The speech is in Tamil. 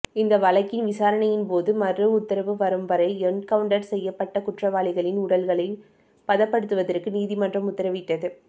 இந்த வழக்கின் விசாரணையின்போது மறு உத்தரவு வரும்வரை என்கவுண்டர் செய்யப்பட்ட குற்றவாளிகளின் உடல்களை பதப்படுத்துவதற்கு நீதிமன்றம் உத்தரவிட்டது